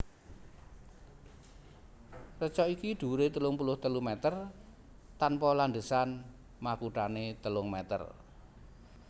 Reca iki dhuwuré telung puluh telu mèter tanpa landhesan makuthané telung mèter